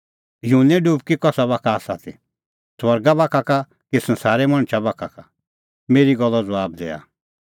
युहन्ने डुबकी कसा बाखा का ती स्वर्गा बाखा का कि संसारे मणछा बाखा का मेरी गल्लो ज़बाब दैआ